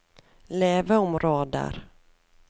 leveområder